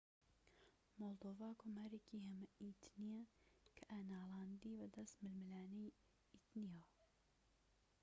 مۆلدۆڤا کۆمارێکی هەمە ئیتنیە کە ناڵاندی بەدەست ململانێی ئیتنیەوە